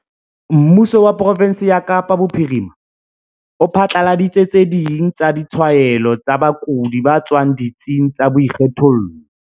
Mmuso wa profensi ya Kapa Bophirima o phatlaladitse tse ding tsa ditshwaelo tsa bakudi ba tswang ditsing tsa boikgethollo.